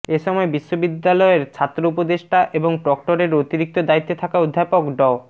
এ সময় বিশ্ববিদ্যালয়ের ছাত্র উপদেষ্টা এবং প্রক্টররের অতিরিক্ত দায়িত্বে থাকা অধ্যাপক ড